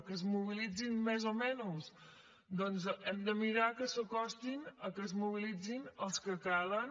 que es mobilitzin més o menys doncs hem de mirar que s’acostin a mobilitzar se els que calen